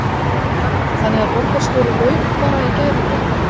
Lára: Þannig að borgarstjóri laug bara í gær í fréttum?